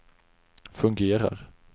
fungerar